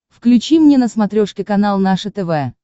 включи мне на смотрешке канал наше тв